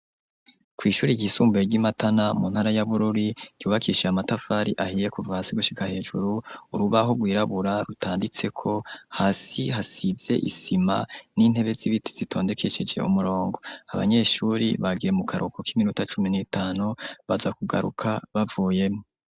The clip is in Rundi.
Kw' ishuri ryisumbuye ry'i Matana mu ntara ya Bururi yubakishije amatafari ahiye kuva hasi gushika hejuru, urubaho rwirabura rutanditseko, hasi hasize isima n'intebe z'ibiti zitondekesheje murongo, abanyeshuri bagiye mu karuko k'iminuta cumi n'itanu, baza kugaruka bavuyemwo.